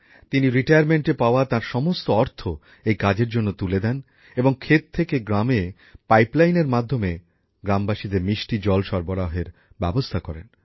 তিনি অবসরগ্রহণের পর পাওয়া তাঁর সমস্ত অর্থ এই কাজের জন্য তুলে দেন এবং ক্ষেত থেকে গ্রামে পাইপলাইনের এর মাধ্যমে গ্রামবাসীদের মিষ্টি জল সরবরাহের ব্যবস্থা করেন